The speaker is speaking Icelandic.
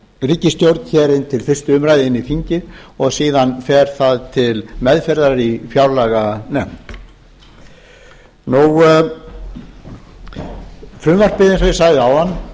ríkisstjórn inn til fyrstu umræðu inn í þingið og síðan fer það til meðferðar í fjárlaganefnd eins og ég sagði áðan